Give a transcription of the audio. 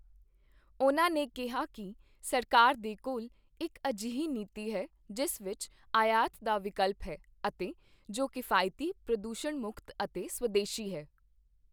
ਉਨ੍ਹਾਂ ਨੇ ਕਿਹਾ ਕਿ ਸਰਕਾਰ ਦੇ ਕੋਲ ਇੱਕ ਅਜਿਹੀ ਨੀਤੀ ਹੈ, ਜਿਸ ਵਿੱਚ ਆਯਾਤ ਦਾ ਵਿਕਲਪ ਹੈ ਅਤੇ ਜੋ ਕਿਫ਼ਾਇਤੀ, ਪ੍ਰਦੂਸ਼ਣ ਮੁਕਤ ਅਤੇ ਸਵਦੇਸ਼ੀ ਹੈ।